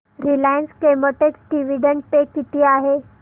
Reliance Chemotex dividend pay किती आहे